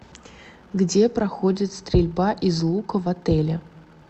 где проходит стрельба из лука в отеле